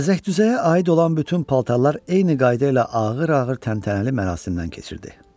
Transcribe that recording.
Bəzək-düzəyə aid olan bütün paltarlar eyni qayda ilə ağır-ağır təntənəli mərasimdən keçirdi.